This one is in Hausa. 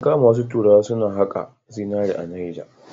An kama wasu turawa suna haƙa zinari a Neja.